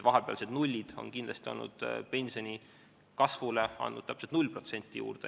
Vahepealsed nullid on andnud pensionikasvule juurde täpselt 0%.